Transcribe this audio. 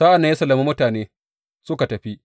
Sa’an nan ya sallami mutanen suka tafi.